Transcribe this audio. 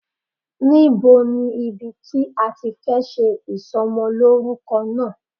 Níbo ni ibi tí a ti fẹ́ ṣe Ìsọmọlórúkọ náà